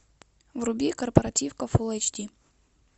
вруби корпоративка фулл эйч ди